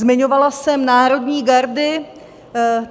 Zmiňovala jsem národní gardy.